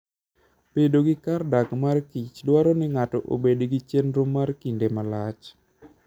Bedo gi kar dak mar kich dwaro ni ng'ato obed gi chenro mar kinde malach.